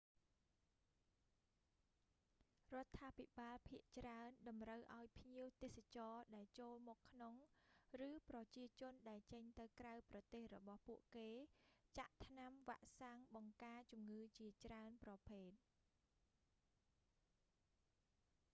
រដ្ឋាភិបាលភាគច្រើនតម្រូវឲ្យភ្ញៀវទេសចរដែលចូលមកក្នុង ឬប្រជាជនដែលចេញទៅក្រៅប្រទេសរបស់ពួកគេ ចាក់ថ្នាំវាក់សាំងបង្ការជំងឺជាច្រើនប្រភេទ